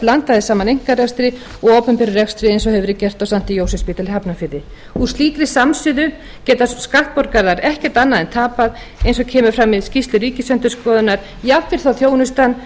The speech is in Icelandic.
blandað er saman einkarekstri og opinberum rekstri eins og gert hefur verið á st jósefsspítala í hafnarfirði með slíkri samsuðu geta skattborgarar ekkert annað en tapað eins og kemur fram í skýrslu ríkisendurskoðunar jafnvel þótt þjónustan